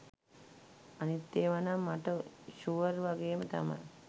අනිත් ඒව නං මට ශුවර් වගේම තමයි